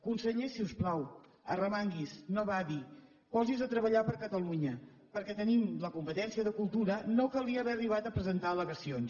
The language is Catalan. conseller si us plau arremangui’s no badi posi’s a treballar per catalunya perquè tenint la competència de cultura no calia haver arribat a presentar al·legacions